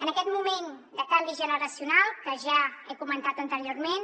en aquest moment de canvi generacional que ja he comentat anteriorment